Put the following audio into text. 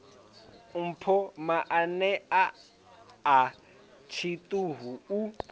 mpho maano a tshiṱuhu u